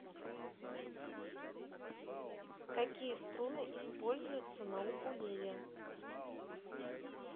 какие струны используются на укулеле